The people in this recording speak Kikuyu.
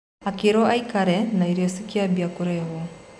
Akĩrwo aikare na irio cikiambia kũrehwo.